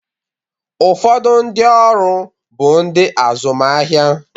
Ụfọdụ ndị ọrụ bụ ndị azụmahịa.